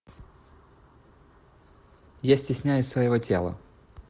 я стесняюсь своего тела